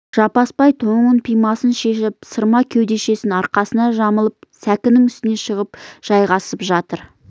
жаппасбай тонын пимасын шешіп сырма кеудешесін арқасына жамылып сәкінің үстіне шығып жайғасып жатыр